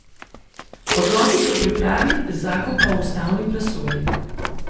Odloki so v pripravi, zakon pa v ustavni presoji.